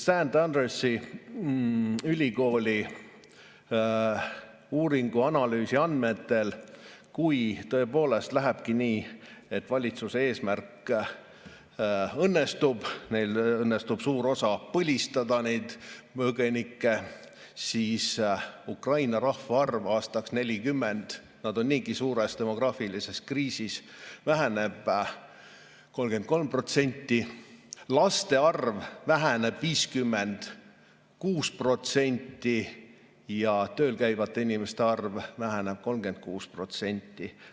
Saint Andrewsi ülikooli uuringu analüüsi andmed näitavad, et kui tõepoolest lähebki nii, et valitsuse eesmärk õnnestub, neil õnnestub suures osas neid põgenikke põlistada, siis Ukraina rahvaarv aastaks 2040 – nad on niigi suures demograafilises kriisis – väheneb 33%, laste arv väheneb 56% ja tööl käivate inimeste arv väheneb 36%.